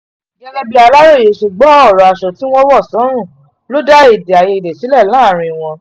gẹ́gẹ́ bí aláròye ṣe gbọ́ ọ̀rọ̀ aṣọ tí wọ́n wọ̀ sọ́rùn ló dá èdè àìyedè sílẹ̀ láàrin wọn